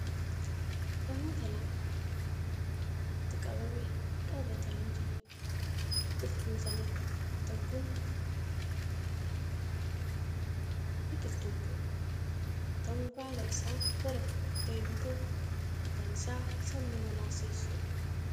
Namoota lama harka isaanitti biqiltuu walitti qabame qabatanee jiraniidha. biqiltuun isaan harkatti qabatan Kuni maqaan Isaa chaatii yookaan jimaa jedhama. biqiltuun Kuni Kan nyaatamu baala Isaa gara kichuu ta'e yoo ta'u faayidaan Isaa sammuu namaa si'eessuudha.